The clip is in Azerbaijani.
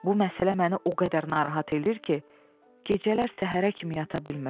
Bu məsələ məni o qədər narahat edir ki, gecələr səhərə kimi yata bilmirəm.